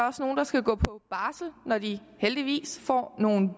også nogle der skal gå på barsel når de heldigvis får nogle